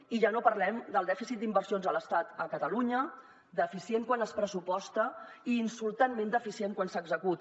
i ja no parlem del dèficit d’inversions a l’estat a catalunya deficient quan es pressuposta i insultantment deficient quan s’executa